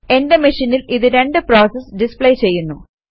എന്റെ മെഷീനിൽ ഇത് രണ്ട് പ്രോസസസ് ഡിസ്പ്ലേ ചെയ്യുന്നു